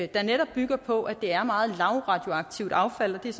der netop bygger på at det er meget lavradioaktivt affald det